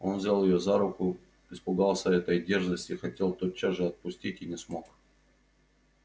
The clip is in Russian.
он взял её за руку испугался этой дерзости хотел тотчас же отпустить и не смог